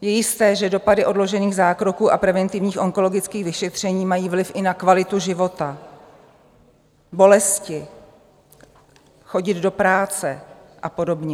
Je jisté, že dopady odložených zákroků a preventivních onkologických vyšetření mají vliv i na kvalitu života, bolesti, chodit do práce a podobně.